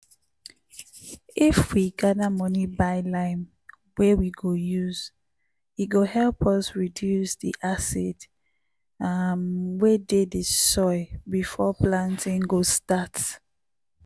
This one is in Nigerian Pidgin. if we gather money buy lime wey wey go use e go help us reduce di acid um wey dey di soil before planting go start.